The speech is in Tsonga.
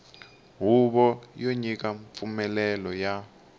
huvo yo nyika mpfumelelo ya